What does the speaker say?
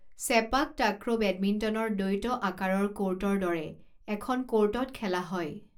Sepak takraw বেডমিণ্টনৰ দ্বৈত আকাৰৰ কোৰ্টৰ দৰে এখন কোৰ্টত খেলা হয়।